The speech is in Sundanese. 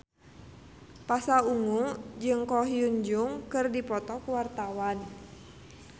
Pasha Ungu jeung Ko Hyun Jung keur dipoto ku wartawan